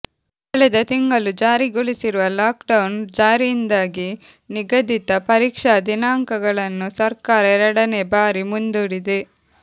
ಕಳೆದ ತಿಂಗಳು ಜಾರಿಗೊಳಿಸಿರುವ ಲಾಕ್ ಡೌನ್ ಜಾರಿಯಿಂದಾಗಿ ನಿಗಧಿತ ಪರೀಕ್ಷಾ ದಿನಾಂಕಗಳನ್ನು ಸರ್ಕಾರ ಎರಡನೇ ಬಾರಿ ಮುಂದೂಡಿದೆ